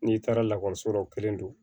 N'i taara lakɔliso la o kelen don